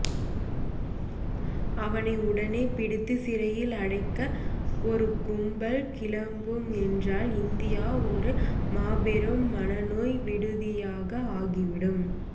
அவனை உடனே பிடித்து சிறையில் அடைக்க ஒரு கும்பல் கிளம்பும் என்றால் இந்தியா ஒரு மாபெரும் மனநோய் விடுதியாக ஆகிவிடும்